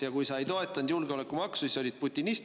Ja kui sa julgeolekumaksu ei toetanud, siis olid sa putinist.